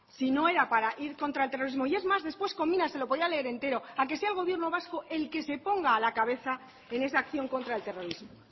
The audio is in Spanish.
si no era para ir contra el terrorismo y es más después conmina se lo podía leer entero a que sea el gobierno vasco el que se ponga a la cabeza en esa acción contra el terrorismo